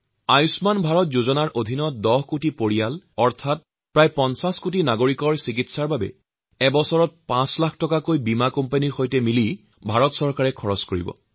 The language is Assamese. আয়ুষ্মান ভাৰত যোজনাৰ অন্তৰ্গত প্ৰায় ১০ কোটি পৰিয়াল অৰ্থাৎ প্ৰায় ৫০ কোটি লোকৰ চিকিৎসাৰ বাবে এবছৰত ৫ লাখ টকাৰ খৰচ ভাৰত চৰকাৰ আৰু বীমা কোম্পানী মিলি বহন কৰিব